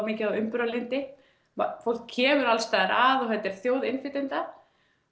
mikið á umburðarlyndi fólk kemur alls staðar að þetta er þjóð innflytjenda